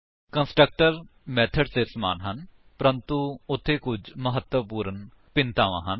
constructor methods ਦੇ ਸਮਾਨ ਹਨ ਪਰੰਤੂ ਉੱਥੇ ਕੁੱਝ ਮਹੱਤਵਪੂਰਣ ਭਿੰਨਤਾਵਾਂ ਹਨ